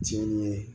Tiɲɛni ye